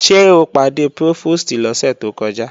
Ṣé o pàdé Prófòstì lọ́sẹ̀ tó kọjá?